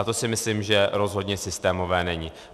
A to si myslím, že rozhodně systémové není.